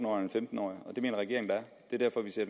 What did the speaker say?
og en femten årig og det mener regeringen der er